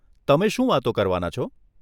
તમે શું વાતો કરવાના છો?